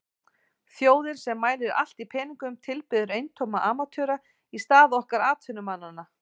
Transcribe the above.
Þjóðin sem mælir allt í peningum tilbiður eintóma amatöra í stað okkar atvinnumannanna.